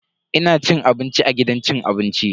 Ina cin abinci a gidan cin abinci.